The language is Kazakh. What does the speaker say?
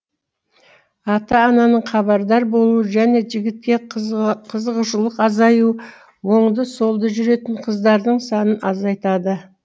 ата ананың хабардар болуы және жігітке қызығушылық азаю оңды солды жүретін қыздардың санын азайтады